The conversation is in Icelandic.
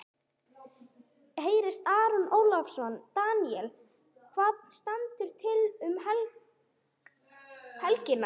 Hersir Aron Ólafsson: Daníel, hvað stendur til um helgina?